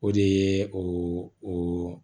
O de ye o